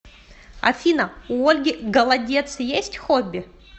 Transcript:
афина у ольги голодец есть хобби